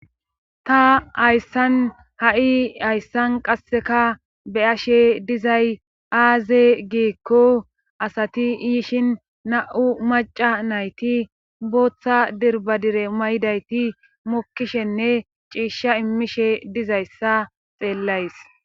Ta hayssan ha'i hayssan qasseka beyashe dizay aaze giekko asati iyishin na'u maca nayti booththa dirbadire maydayti mokkishenne ciishsha immishe dizayssa xeellays.